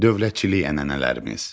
Dövlətçilik ənənələrimiz.